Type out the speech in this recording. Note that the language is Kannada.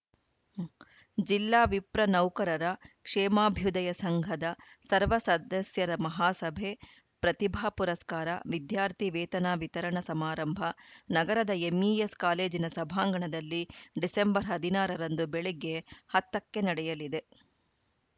ಜಿಲ್ಲಾ ವಿಪ್ರ ನೌಕರರ ಕ್ಷೇಮಾಭ್ಯುದಯ ಸಂಘದ ಸರ್ವ ಸದಸ್ಯರ ಮಹಾಸಭೆ ಪ್ರತಿಭಾ ಪುರಸ್ಕಾರ ವಿದ್ಯಾರ್ಥಿ ವೇತನ ವಿತರಣಾ ಸಮಾರಂಭ ನಗರದ ಎಂಇಎಸ್‌ ಕಾಲೇಜಿನ ಸಭಾಂಗಣದಲ್ಲಿ ಡಿಸೆಂಬರ್ ಹದಿನಾರರಂದು ಬೆಳಗ್ಗೆ ಹತ್ತ ಕ್ಕೆ ನಡೆಯಲಿದೆ